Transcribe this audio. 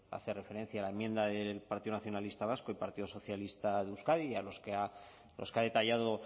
hace referencia la enmienda del partido nacionalista vasco y partido socialista de euskadi los que ha detallado